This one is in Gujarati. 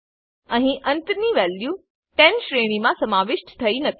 અહી અંતની વેલ્યુ 10 શ્રેણીમા સમાવિષ્ઠ થયી નથી